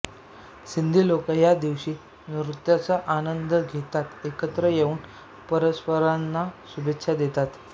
सिंधी लोक या दिवशी नृत्याचा आनंद घेतातएकत्र येऊन परस्परांना शुभेच्छा देतात